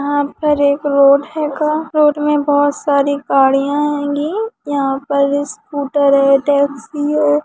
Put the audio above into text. यहा पर एक रोड हैगा रोड मे बहुत सारी गाड़ियां हैंगी यहा पर स्कूटर हैटैक्सी है।